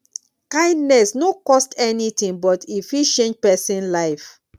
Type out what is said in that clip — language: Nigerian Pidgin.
kindness no cost anything but e fit change person life